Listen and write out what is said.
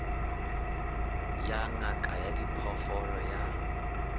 ya ngaka ya diphoofolo ya